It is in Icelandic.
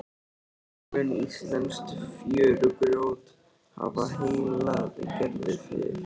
Raunar mun íslenskt fjörugrjót hafa heillað Gerði fyrr.